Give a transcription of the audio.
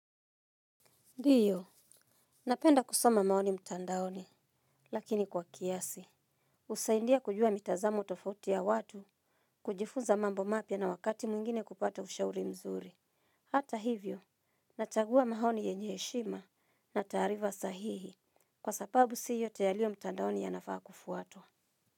Ndiyo, napenda kusoma maoni mtandaoni, lakini kwa kiasi. Husaidia kujua mitazamo tofauti ya watu kujifunza mambo mapya na wakati mwingine kupata ushauri mzuri. Hata hivyo, nachagua maoni yenye heshima na taarifa sahihi, kwa sababu si yote yaliyo mtandaoni yanafaa kufuatwa.